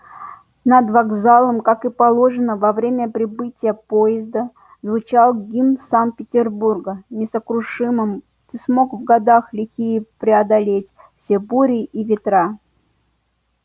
над вокзалом как и положено во время прибытия поезда звучал гимн санкт-петербурга несокрушим ты смог в года лихие преодолеть все бури и ветра